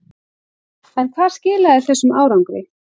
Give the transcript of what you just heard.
En hvað skilaði þessum árangri?